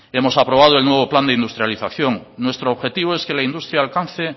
hemos aprobado el nuevo plan de industrialización nuestro objetivo es que la industria alcance